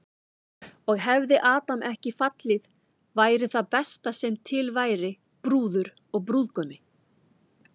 Og hefði Adam ekki fallið væri það besta sem til væri, brúður og brúðgumi.